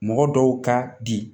Mɔgɔ dɔw ka bi